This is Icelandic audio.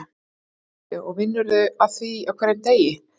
Boði: Og vinnurðu að því á hverjum degi?